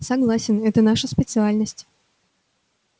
согласен это наша специальность